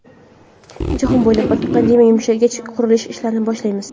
Jahon bo‘ylab pandemiya yumshagach, qurilish ishlarini boshlaymiz.